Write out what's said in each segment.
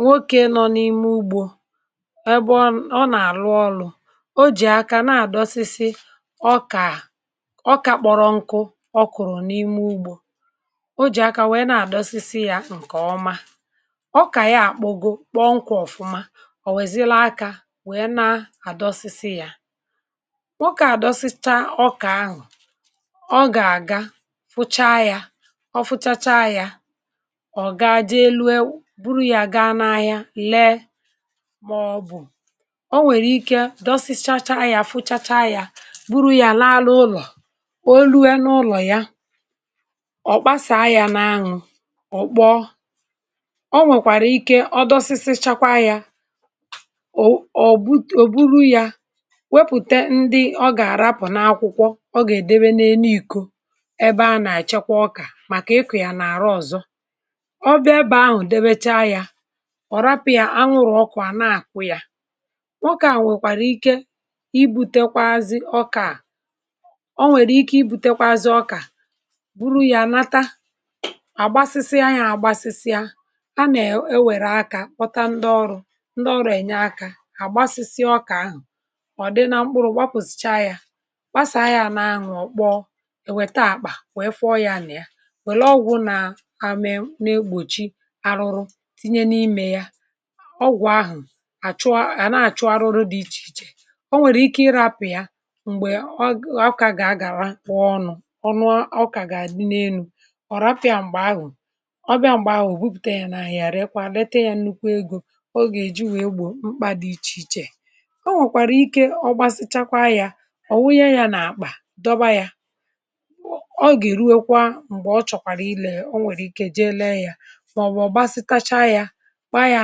nwokė nọ n’ime ugbȯ ebe ọ nà-àrụ ọrụ̇ ọ jì aka na-àdọsịsị ọ kà ọkȧ kpọrọ nkụ̇, ọ kụ̀rụ̀ n’ime ugbȯ um o jì aka wèe na-àdọsịsị yȧ ǹkèọma ọkà ya àkpọ goo, kpọọ nkwȧ ọ̀fụma eeh ọ̀ wèzie laa akȧ, wèe na-àdọsịsị yȧ wèzie na-àdọsịsị yȧ nwokė àdọsịsa ọkà anwụ̇ um ọ gà-àga fụcha ya, ọ fụchacha ya buru ya gaa n’ahịa lee maọbụ̀ o nwèrè ike dọsịsacha ya, fụchacha ya, buru ya laa ala ụlọ̀ olu ya na ụlọ̀ ya ọ̀ kpasàa ya n’ahụ̀, ọ kpọọ eeh o nwèkwàrà ike ọ dọsịsị chakwa ya ọ ọ bụ ò buru ya wepùte ndị ọ gà-àrapụ̀ n’akwụkwọ ọ gà-èdebe n’ene ìko ebe a nà-àchakwa ọkà màkà ịkụ ya nà àrụ ọ̀zọ um ọ rapụ̇ ya anwụrụ̀ ọkụ̀ à na-àkụ ya ọkà à nwèkwàrà ike ibu̇tekwaazị ọkà eeh o nwèrè ike ibu̇tekwaazị ọkà, buru ya nata àgbasịsịa ya àgbasịsịa a na-ewère akȧ pọta ndị ọrụ̇ ndị ọrụ̇ ènye akȧ àgbasịsịa ọkà ahụ̀ ọ̀ dị na mkpụrụ̇ gbapụ̀sị̀cha ya gbasịa ahịȧ na-anyù ọ̀kpọ ewèta àkpà wee fụọ ya nà ya wèlee ọgwụ̇ na tinye n’imė ya ọgwụ̀ ahụ̀ àchụ à na-àchụ um arụrụ dị̇ ichè ichè o nwèrè ike ịrapụ̀ ya m̀gbè ọọkà gà-agàra kpọọ ọnụ̇ ọ nụ ọ kà gà-àdị n’elu̇ um ọ rapụ̀ ya m̀gbè ahụ̀ ọ bịa m̀gbè ahụ̀ ò bupùte ya n’àhụ̀ ya? rekwa lete ya nnukwu egȯ ọ gà-èji wèe gbò mkpà dị̇ ichè ichè o nwèkwàrà ike ọgbasịchakwa ya ọ̀ wụghe ya n’àkpà dọba ya ọ gà-èruekwa m̀gbè ọ chọ̀kwàrà ilė ya eeh o nwèrè ike jee lė ya, kpaa ya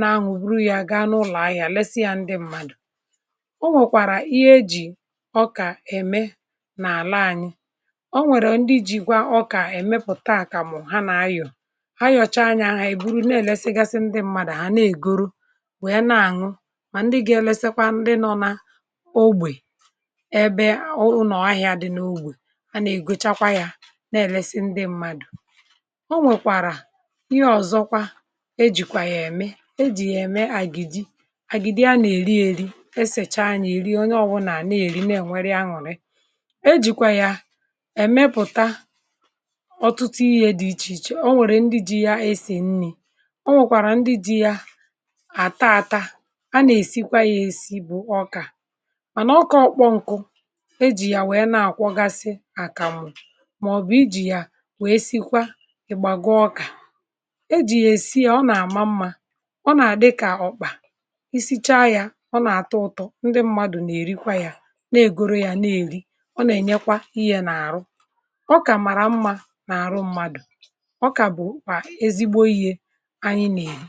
na-anwụ̀, buru ya gaa n’ụlọ ahịa lesị ya ndị mmadụ̀ o nwèkwàrà ihe eji̇ ọkà ème n’àla anyị o nwèrè ndị jìkwa ọkà èmepùta àkàmụ̀ ha nà-anyọ̀ ha yọ̀cha anya ha èburu na-èlesịgasi ndị mmadụ um ha na-ègoro wè ya, na-àṅụ mà ndị ga-elesekwa ndị nọ̀ n’ogbè ebe ọ ụnọ̀ ahịà dị n’ogbè a nà-ègochakwa ya na-èlesị ndị mmadụ eeh e jìkwà yà ème ejìyè ème àgìjì... àgìjì a nà-èri èri esèchaa yȧ nà-èri onye ọwụ̇wụ̇ nà a na-èri, na-èwere ya ñụ̀rị e jìkwà yà èmepùta ọ̀tụtụ ihe dị̀ ichè ichè o nwèrè ndị ji ya esì nni̇ o nwèkwàrà ndị ji ya àta ata a na-èsikwa ya èsi bụ̀ ọkà mànà ọ kọọ kpọ ǹkụ̇ e jì ya wèe na-àkwọgasị àkàmụ̀. màọ̀bụ̀ ijì ya wèe sikwa ị̀gbàgụ ọkà ọ nà-àdị kà ọkpà i sichaa ya ọ nà-àtụ ụtọ ndị mmadụ nà-èrikwa ya nà-ègoro ya na-èri ọ nà-ènyekwa ihe n’àrụ ọ kà mara mmȧ n’àrụ mmadụ̀ ọ kà bụ̀ kwà ezigbo ihe anyị n’ìyi.